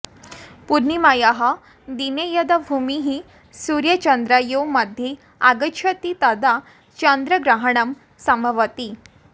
पूर्णिमायाः दिने यदा भूमिः सूर्यचन्द्रयोः मध्ये आगच्छति तदा चन्द्रग्रहणं सम्भवति